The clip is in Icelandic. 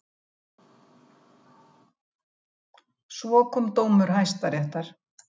Svo kom dómur Hæstaréttar.